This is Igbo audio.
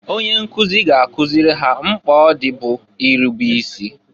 Onye nkụzị ga-akụzịlị ha mkpa ọ dị bụ irube isi.